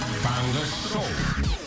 таңғы шоу